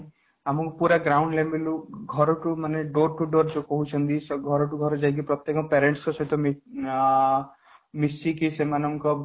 ଆମକୁ ପୁରା ground level ରୁ ଘରକୁ ମାନେ door to door ଯୋଉ କହୁଛନ୍ତି ଘରକୁ ଘର ଯାଇ ପ୍ରତ୍ୟକ parents ଙ୍କ ସହିତ ଆଁ ମିଶିକି ସେମାନଙ୍କ